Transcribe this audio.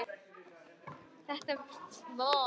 Það verður úr henni allur meyjarhitinn!